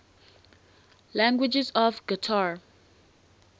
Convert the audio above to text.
languages of qatar